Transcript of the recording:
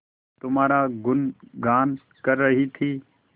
तुम्हारा गुनगान कर रही थी